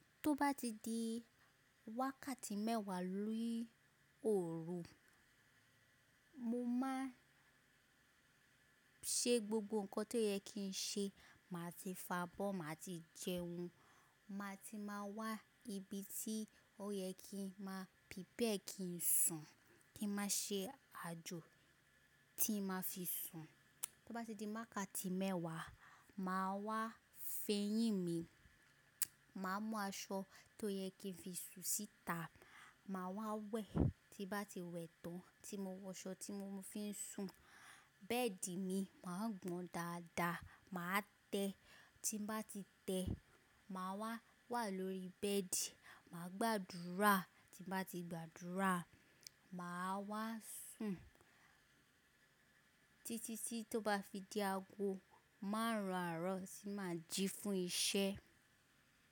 Tó bá ti di wákàtí mẹ́wàá ni òru, mo máa ṣe gbogbo ǹkan tó yẹ kí n ṣe. Màá ti fo abọ́, màá ti jẹun, màá ti máa wá ibi tí ó yẹ kí màá prepare kí n sùn, kí màá ṣe àjò tí n màá fi sùn. Tó bá ti di wákàtí mẹ́wàá, màá wá fo eyín mi, màá mú aṣọ tó yẹ kí n fi sùn síta, màá wá wẹ̀, tí bá ti wẹ̀ tán tí mo wọ aṣọ tí mo fi ń sùn, bẹ́ẹ̀dì mi màá gbọn dáadáa, màá tẹ́, tí bá ti tẹ́, màá wá wà lórí bẹ́ẹ̀dì, màá gbàdúrà, tí bá ti gbàdúrà, màá wá sùn títí tí tó máa fi di ago márùn àrọ̀ tí ma fi jí fún iṣẹ́.